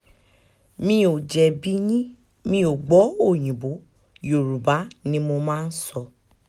mi ò jẹ̀bi yín mi ò gbọ́ òyìnbó yorùbá ni mo máa sọ